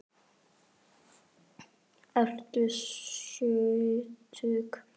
Ertu sjötug?